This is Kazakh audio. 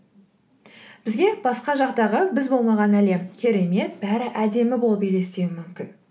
бізге басқа жақтағы біз болмаған әлем керемет бәрі әдемі болып елестеуі мүмкін